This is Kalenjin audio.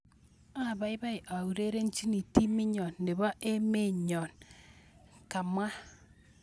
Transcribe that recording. Abaibai aurerenchini timit nyon nebo emet nyon, kamwa.